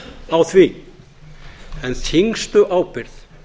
á því en þyngstu ábyrgð